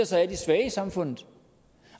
sig af de svage i samfundet